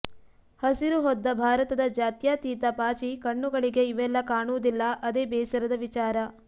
ಹಸಿರು ಹೊದ್ದ ಭಾರತದ ಜಾತ್ಯಾತೀತ ಪಾಚಿ ಕಣ್ಣುಗಳಿಗೆ ಇವೆಲ್ಲ ಕಾಣುವುದಿಲ್ಲ ಅದೆ ಬೇಸರದ ವಿಚಾರ